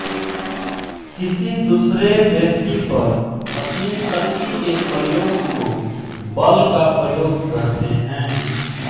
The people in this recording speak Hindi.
किसी दूसरे व्यक्ति पर अपनी शक्ति के प्रयोग को बल का प्रयोग कहते हैं